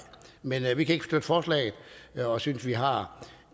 men vi kan ikke støtte forslaget og synes vi har